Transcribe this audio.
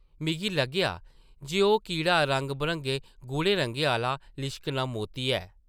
मिगी लग्गेआ जे ओह् कीड़ा रंग-बरंगे गूढ़े रंगें आह्ला लिश्कना मोती ऐ ।